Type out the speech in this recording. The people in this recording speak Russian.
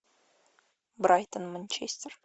брайтон манчестер